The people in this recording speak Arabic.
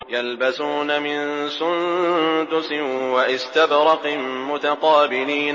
يَلْبَسُونَ مِن سُندُسٍ وَإِسْتَبْرَقٍ مُّتَقَابِلِينَ